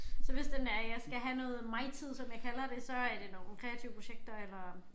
Så hvis det er jeg skal have noget migtid som jeg kalder det så er det nogle kreative projekter eller